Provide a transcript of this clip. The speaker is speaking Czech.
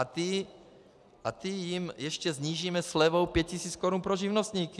A ty jim ještě snížíme slevou 5 000 Kč pro živnostníky.